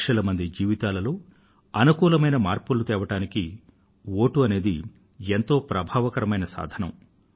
లక్షల మంది జీవితాలలో అనుకూలమైన మార్పులను తేవడానికి వోటు అనేది ఎంతో ప్రభావశీల సాధనం